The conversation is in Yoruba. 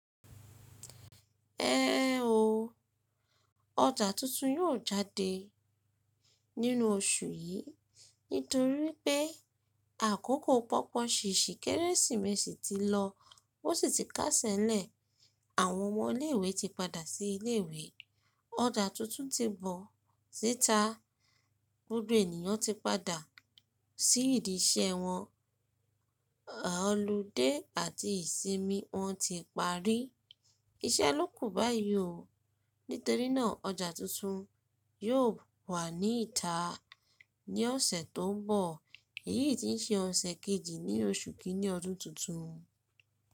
Ẹ o. Ọjà tuntun yóò jáde nínú oṣù yìí nítorí pé àkókò pọ́pọ̀ ṣèèṣì Kérésìmesì ti lọ ó sì ti kásẹ̀lẹ̀. Àwọn ọmọ ilé ìwé ti padà sí ilé ìwé. Ọjà tuntun ti bọ̀ tita gbogbo ènìyàn ti padà sí ìdí iṣẹ́ wọn, ọludé àti ìsinmi wọn ti parí. Iṣẹ́ ló kù báyìí o. Nítorínà ọjà tuntun yóò wà ní ìta ní ọ̀sẹ̀ tó ń bọ̀. Èyí ti ń ṣe ọ̀sẹ̀ kejì ní oṣù kìíní ọdún tuntun.